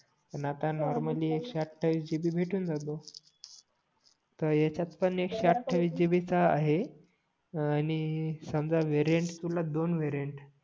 आन आता नॉर्मली एकशेअठावीस जीबी भेटून जातो तर ह्याच्यात पण एकशेअठावीस जीबी चा आहे हां आणि समझ वेरिएंट तुला दोन वेरिएंट